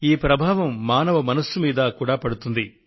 ఈ ప్రభావం మనిషి మనస్సు మీద కూడా పడుతుంది